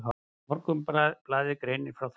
Morgunblaðið greinir frá þessu.